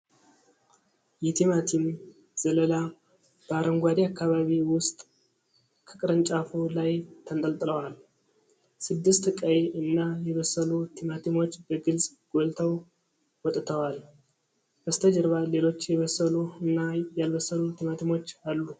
የቲማቲም ዘለላ በአረንጓዴ አከባቢ ውስጥ ከቅርንጫፉ ላይ ተንጠልጥለዋል። ስድስት ቀይ እና የበሰሉ ቲማቲሞች በግልጽ ጎልተው ወጠዋል። በስተጀርባ ሌሎች የበሰሉ እና ያልበሰሉ ቲማቲሞች አሉ።